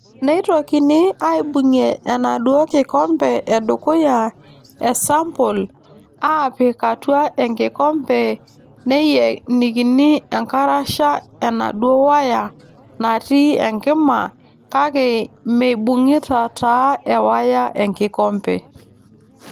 Neitokini aaibung'ie enaaduoo kikombe edukuya esambol aapik atua nkikombe neeyenikini enkarasha enaduoo waya natii enkima kake meibung'ita taa ewaya enkikombe.